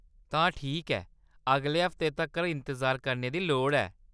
तां ठीक ऐ, अगले हफ्ते तक्कर इंतजार करने दी लोड़ ऐ।